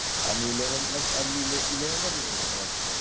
आनि eleventh eleventh चा result होता वाटत तो